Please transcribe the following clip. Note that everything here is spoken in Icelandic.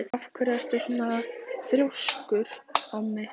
Af hverju ertu svona þrjóskur, Ómi?